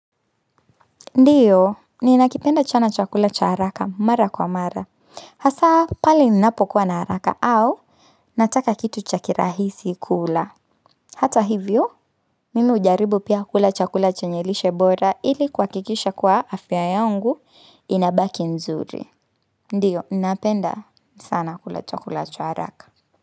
Ndiyo, ni nakipenda chana chakula cha haraka mara kwa mara. Hasaa, pali ninapo kua na haraka au, nataka kitu chakirahisi kula. Hata hivyo, mimi ujaribu pia kula chakula chenyelishe bora ili kwa kikisha kwa afya yangu inabaki nzuri. Ndiyo, napenda sana kula chakula cha haraka.